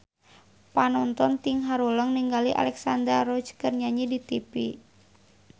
Panonton ting haruleng ningali Alexandra Roach keur nyanyi di tipi